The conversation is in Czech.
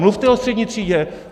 Mluvte o střední třídě!